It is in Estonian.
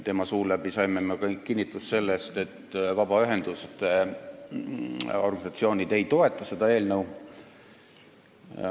Tema suu läbi saime me kõik kinnitust, et vabaühenduste organisatsioonid ei toeta seda eelnõu.